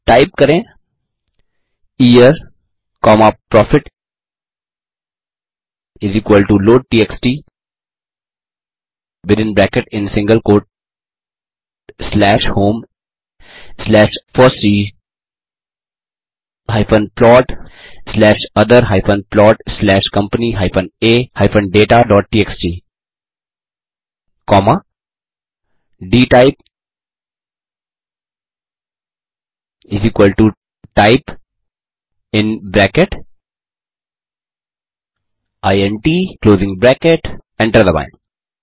type करें yearप्रॉफिट लोडटीएक्सटी within bracket in single quote slash home slash FOSSEE slash other plot slash company a dataटीएक्सटी comma dtypetype in bracket int enter दबाएँ